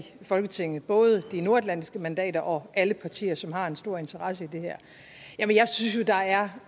folketinget både de nordatlantiske mandater og alle partier som har en stor interesse i det her jeg synes jo at der er